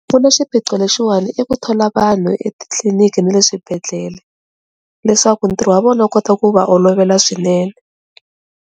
Pfuna swiphiqo lexiwani i ku thola vanhu etitliniki ni le swibedhlele leswaku ntirho wa vona kota ku va olovela swinene.